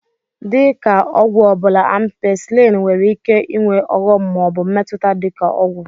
Dị ka ọgwụ ọbụla, Ampisilin nwere ike ịnwe ọghọm ma ọ bụ mmetụta dị ka ọgwụ.